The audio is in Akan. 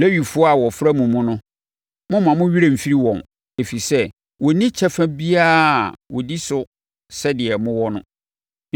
Lewifoɔ a wɔfra mo mu no, mommma mo werɛ mfiri wɔn, ɛfiri sɛ, wɔnni kyɛfa biara a wɔdi so sɛdeɛ mowɔ no.